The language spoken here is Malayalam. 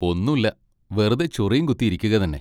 ഒന്നൂല, വെറുതെ ചൊറിയും കുത്തി ഇരിക്കുക തന്നെ.